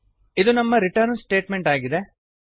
ಇದು ನಮ್ಮ return statement ಆಗಿದೆ